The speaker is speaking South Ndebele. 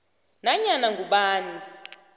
d nanyana ngubani